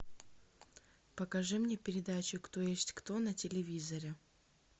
покажи мне передачу кто есть кто на телевизоре